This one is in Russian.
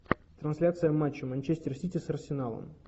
трансляция матча манчестер сити с арсеналом